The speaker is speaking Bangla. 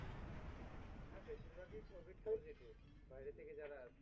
হ্যাঁ বেশিরভাগই covid positive বাইরে থেকে যারা আসছে।